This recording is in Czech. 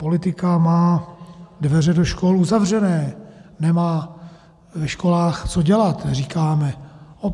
Politika má dveře do škol uzavřené, nemá ve školách co dělat, říkáme.